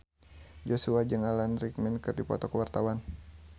Joshua jeung Alan Rickman keur dipoto ku wartawan